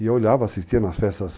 E eu olhava, assistia nas festas,